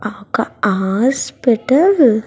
ఆ ఒక్క హాస్పిటల్ .